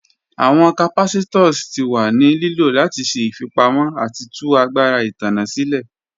Awọn capacitors ti wa ni lilo lati ṣe ifipamọ ati tu agbara itanna silẹ.